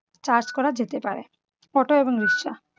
charge করা যেতে পারে। auto এবং রিকশা